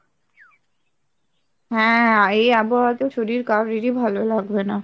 হ্যাঁ এই আবহাওয়াতেও শরীর কারোরই ভালো লাগবে না।